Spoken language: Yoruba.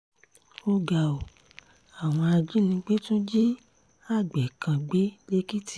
ó ga ọ́ àwọn ajínigbé tún jí àgbẹ̀ kan gbé lẹ́kìtì